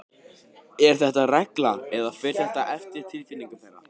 Er þetta regla eða fer þetta eftir tilfinningu þeirra?